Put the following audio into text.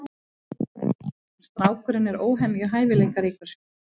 Strákurinn er óhemju hæfileikaríkur.